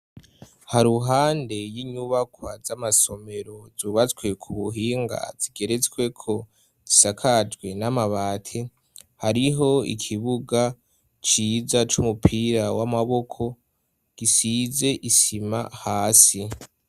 Ha ruhande y'inyubakwa z'amasomero zubazswe ku buhinga zigeretsweko zisakajwe n'amabate hariho ikibuga ciza c'umupira w'amaboko gisize isima hasi.